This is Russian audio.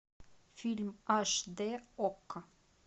фильм аш д окко